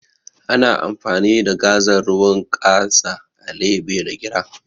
Ana amfani da gazal ruwan ƙasa a leɓe da gira